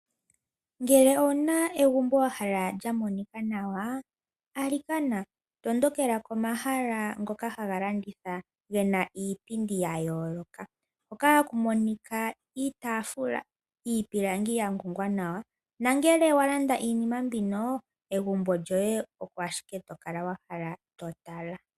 Ngele owuna egumbo wahala limonike nawa alikana tondokela komahala ngono hagalanditha gena iipindi ya yooloka hoka haku monika iitaafula, iipilangi yangongwa nawa. Ngele walanda iinima mbino egumbo lyoye oko ashike tokala wahala totala.